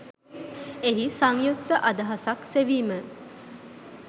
එහි සංයුක්ත අදහසක් සෙවිම